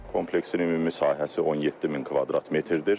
Kompleksin ümumi sahəsi 17000 kvadrat metrdir.